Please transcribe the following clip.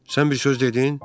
Sən bir söz dedin?